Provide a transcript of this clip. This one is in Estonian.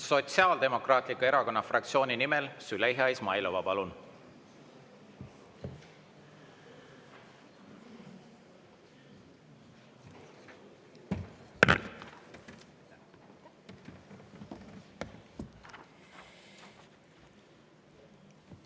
Sotsiaaldemokraatliku Erakonna fraktsiooni nimel Züleyxa Izmailova, palun!